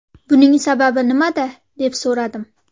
Buning sababi nimada?” deb so‘radim.